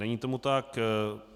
Není tomu tak.